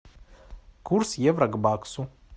курс евро к баксу